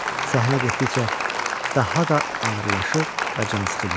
Səhnə getdikcə daha da ağırlaşır və cansıxıcı olurdu.